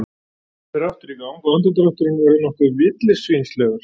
Gosbrunnurinn fer aftur í gang og andardrátturinn verður nokkuð villisvínslegur.